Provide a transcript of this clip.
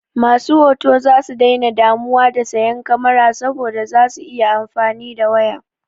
Masu hoto zasu daina damuwa da sayan kamara saboda za su iya amfani da waya.